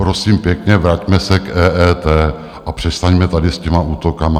Prosím pěkně, vraťme se k EET a přestaňme tady s těmi útoky.